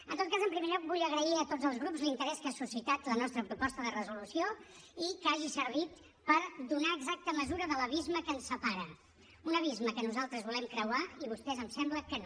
en tot cas en primer lloc vull agrair a tots els grups l’interès que ha suscitat la nostra proposta de resolució i que hagi servit per donar exacta mesura de l’abisme que ens separa un abisme que nosaltres volem creuar i vostès em sembla que no